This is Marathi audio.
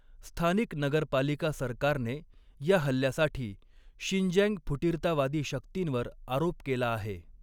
स्थानिक नगरपालिका सरकारने या हल्ल्यासाठी 'शिंजँग फुटीरतावादी शक्तींवर' आरोप केला आहे.